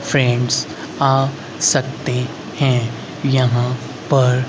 friends आ सकते हैं यहां पर--